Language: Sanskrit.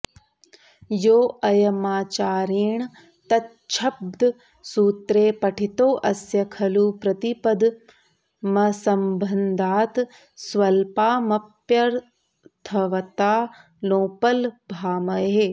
योऽयमाचार्येण तच्छब्दः सूत्रे पठितोऽस्य खलु प्रतिपदमसम्बन्धात् स्वल्पामप्यर्थवत्तां नोपलभामहे